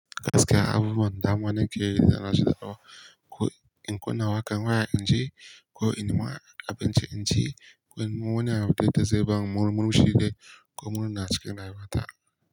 Gaskiya abubuwan dama nake rara shaɗawa. Ko in kuna wakan waya in ji, ko in nima abinci in ci, ko in wuni a waje da zai ba mu murmushi dai, ko murna cikin rayuwata.